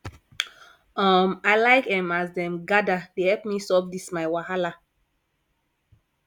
um i like um as dem gather dey help me solve dis my wahala